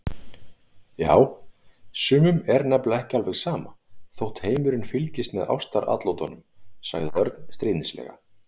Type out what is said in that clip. Já, sumum er nefnilega ekki alveg sama þótt heimurinn fylgist með ástaratlotunum sagði Örn stríðnislega.